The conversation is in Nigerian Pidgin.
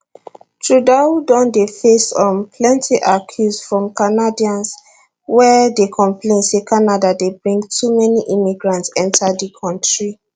trudeau don dey face um plenty accuse from canadians wey dey complain say canada dey bring too many immigrants enta di kontri